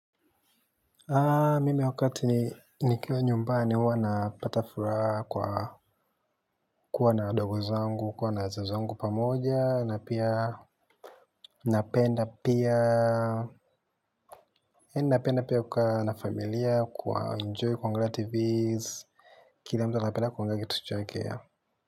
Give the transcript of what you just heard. Mimi wakati nikiwa nyumbani huwa napata furaha kwa kuwa na ndugu zangu, kuwa na wazazi wangu pamoja na pia yaani napenda pia kukaa na familia, kuenjoy kuangalia tvs, kila mtu anapenda kuangalia kitu chake yeah.